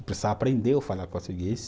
Precisava aprender eu falar português.